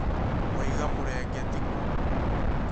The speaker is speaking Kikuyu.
Waiga murengetĩ kũ?